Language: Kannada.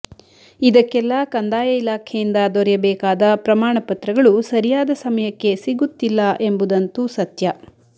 ಇದಕ್ಕೆಲ್ಲ ಕಂದಾಯ ಇಲಾಖೆಯಿಂದ ದೊರೆಯಬೇಕಾದ ಪ್ರಮಾಣ ಪತ್ರಗಳು ಸರಿಯಾದ ಸಮಯಕ್ಕೆ ಸಿಗುತ್ತಿಲ್ಲ ಎಂಬುದಂತು ಸತ್ಯ